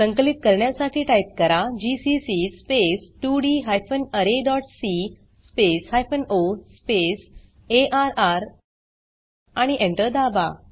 संकलित करण्यासाठी टाइप करा जीसीसी स्पेस 2डी हायपेन अरे dot C space hyphen O space अर्र आणि Enter दाबा